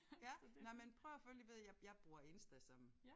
Ja nej men prøv at følge ved jeg jeg bruger Insta som